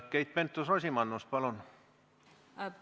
Keit Pentus-Rosimannus, palun!